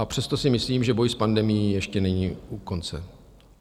A přesto si myslím, že boj s pandemií ještě není u konce.